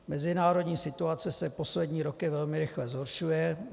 Mezinárodní situace se poslední roky velmi rychle zhoršuje.